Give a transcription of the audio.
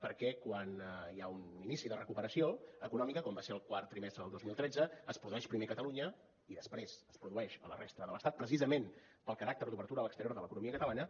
perquè quan hi ha un inici de recuperació econòmica com va ser el quart trimestre del dos mil tretze es produeix primer a catalunya i després es produeix a la resta de l’estat precisament pel caràcter d’obertura a l’exterior de l’economia catalana